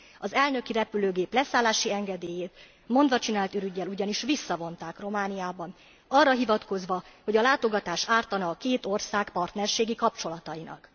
Az elnöki repülőgép leszállási engedélyét mondvacsinált ürüggyel ugyanis visszavonták Romániában arra hivatkozva, hogy a látogatás ártana a két ország partnerségi kapcsolatainak.